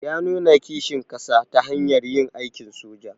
Ya nuna kishin kasa ta hanyar yin aikin soja.